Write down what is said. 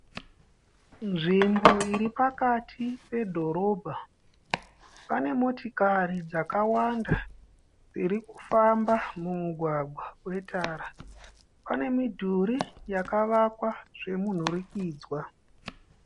Nzvimbo iri pakati pedhorobha, pane motokari dzakawanda dzirikufamba mumugwagwa we tara. Pane midhuri yakavakwa zvemunhurikidzwa.